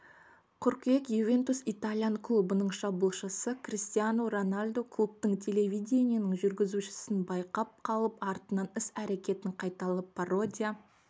қыркүйек ювентус итальян клубының шабуылшысы криштиану роналду клубтық телевидениенің жүргізушісін байқап қалып артынан іс-әрекетін қайталап пародия